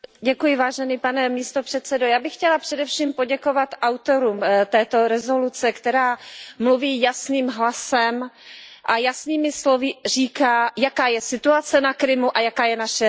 Pane předsedající, já bych chtěla především poděkovat autorům této rezoluce, která mluví jasným hlasem a jasnými slovy říká, jaká je situace na Krymu a jaká je naše reakce.